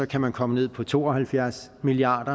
kan man komme ned på to og halvfjerds milliard